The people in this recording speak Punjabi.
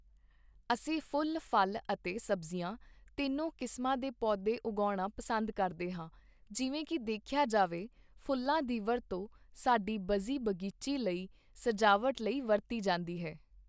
ਅਸੀਂ ਫੁੱਲ ਫਲ਼ ਅਤੇ ਸਬਜ਼ੀਆਂ ਤਿੰਨੋਂ ਕਿਸਮਾਂ ਦੇ ਪੌਦੇ ਉਗਾਉਣਾ ਪਸੰਦ ਕਰਦੇ ਹਾਂ ਜਿਵੇਂ ਕਿ ਦੇਖਿਆ ਜਾਵੇ ਫੁੱਲਾਂ ਦੀ ਵਰਤੋਂ ਸਾਡੀ ਬਜ਼ੀ ਬਗੀਚੀ ਲਈ ਸਜਾਵਟ ਲਈ ਵਰਤੀ ਜਾਂਦੀ ਹੈ